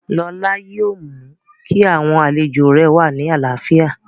Lọlá yóò mú kí àwọn àlejò rẹ̀ wà ní àlàáfíà